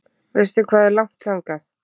Veistu hvað er langt þangað?